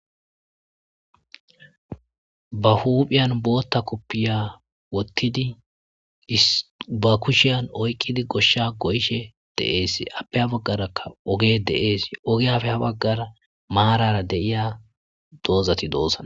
Ba huphphan booththa koppiya woththidi be kushshen oyqqidi goshshe goyishe de'esse appe hano baggera oggey de'es oggiyape ha baggara maarara dei'ya doozati dossona.